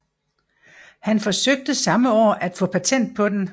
Han forsøgte samme år at få patent på den